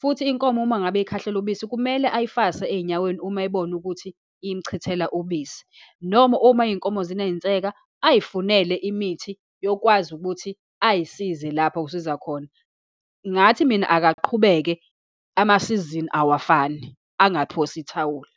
Futhi inkomo uma ngabe ikhahlela ubisi, kumele ayifase eyinyaweni uma eyibona ukuthi imchithela ubisi, noma uma iy'nkomo zineyinseka, ayifunele imithi yokwazi ukuthi ayisize lapha ayisiza khona. Ngathi mina akaqhubeke, amasizini awafani, angaphosi ithawula.